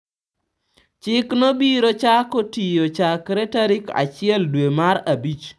Chikno biro chako tiyo chakre tarik achiel dwe mar Abich.